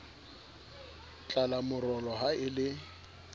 tlala morolo ha e le